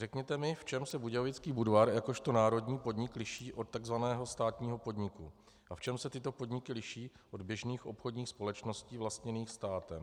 Řekněte mi, v čem se Budějovický Budvar jakožto národní podnik liší od takzvaného státního podniku a v čem se tyto podniky liší od běžných obchodních společností vlastněných státem.